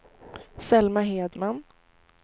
Selma Hedman